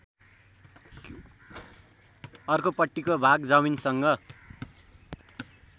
अर्कोपट्टिको भाग जमिनसँग